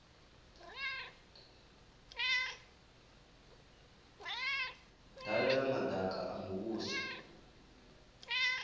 dalela madaka a muvhuso vha